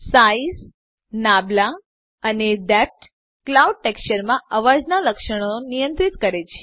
size નાબલા અને depth cloud textureમાં અવાજના લક્ષણો નિયંત્રિત કરે છે